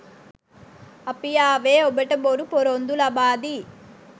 අපි ආවේ ඔබට බොරු ‍පොරොන්දු ලබා දී